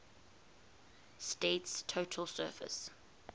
state's total surface